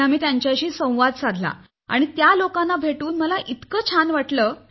तेथे आम्ही त्या विद्यार्थ्यांशी संवाद साधला आणि त्या लोकांना भेटून मला इतकं छान वाटलं